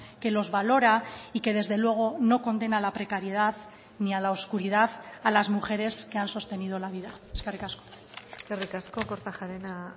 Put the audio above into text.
que los valora y que desde luego no condena a la precariedad ni a la oscuridad a las mujeres que han sostenido la vida eskerrik asko eskerrik asko kortajarena